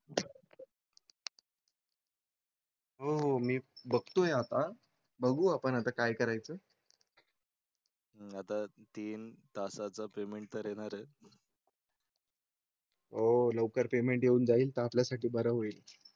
हो हो मी बघतोय आता बघू आपण आता काय करायचं? आता तीन तासा चा पेमेंट करणार? हो लवकर पेमेंट येऊन जाईल तर आपल्या साठी बरं होईल.